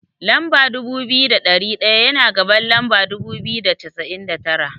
Lamba dubu biyu da ɗari ɗaya, yana gaban lamba dubu biyu da cassa'in da tara.